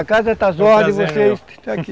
A casa está às ordens estão aqui.